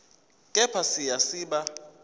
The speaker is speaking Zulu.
kepha siya siba